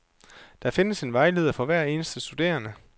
Der findes en vejleder for hver eneste studerende.